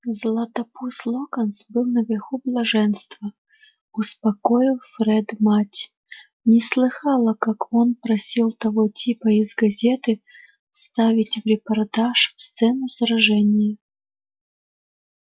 златопуст локонс был наверху блаженства успокоил фред мать не слыхала как он просил того типа из газеты вставить в репортаж сцену сражения